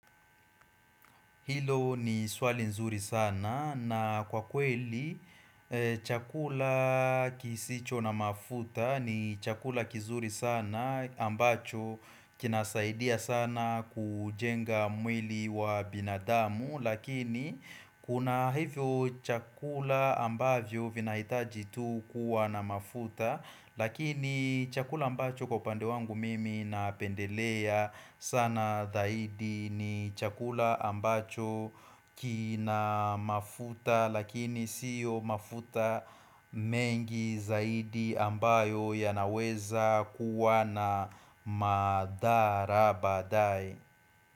Hilo ni swali nzuri sana na kwa kweli chakula kisicho na mafuta ni chakula kizuri sana ambacho kinasaidia sana kujenga mwili wa binadamu. Lakini kuna hivyo chakula ambavyo vinahitaji tu kuwa na mafuta Lakini chakula ambacho kupande wangu mimi napendelea sana dahidi ni chakula ambacho kina mafuta Lakini siyo mafuta mengi zaidi ambayo yanaweza kuwa na madhara baadae.